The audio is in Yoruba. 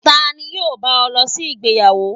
Tani yọọ ba o losí ìgbéyàwó?